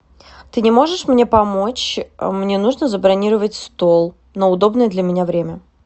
ты не можешь мне помочь мне нужно забронировать стол на удобное для меня время